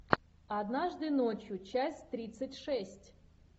однажды ночью часть тридцать шесть